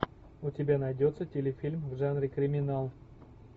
у тебя найдется телефильм в жанре криминал